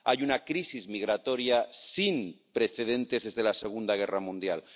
Hay una crisis migratoria sin precedentes desde la Segunda Guerra Mundial.